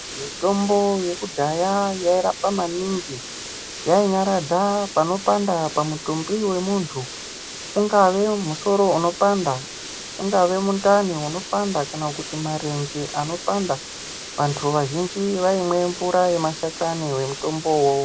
Mitombo yekudhaya yairapa maningi yainyaradza panopanda pamutumbi ventu. Ungave musoro unopanda ungave mundani unopanda kana kuti marenje anopanda. Vantu vazhinji vaimwe mvura yemashakani vemutombo ivovo.